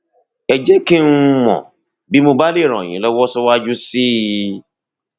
ẹ jẹ kí n um mọ bí mo bá lè ràn yín lọwọ síwájú sí i